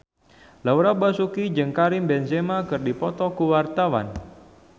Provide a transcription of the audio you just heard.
Laura Basuki jeung Karim Benzema keur dipoto ku wartawan